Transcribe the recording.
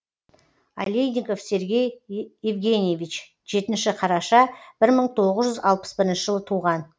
алейников сергей евгеньевич жетінші қараша бір мың тоғыз жүз алпыс бірінші жылы туған